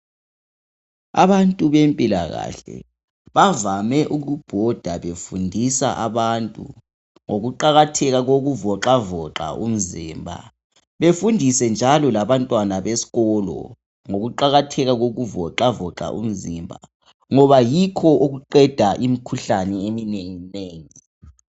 Abantu bempilakahle bavame ukubhodabhoda befundisa abantu ngokuqakatheka kokuvoxavoxa umzimba befundise njalo labantwana besikolo ngokuqakatheka kokuvoxavoxa umzimba ngoba yikho okuqeda imikhuhlane eminenginengi.